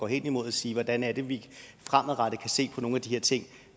hen imod at sige hvordan er det vi fremadrettet kan se på nogle af de her ting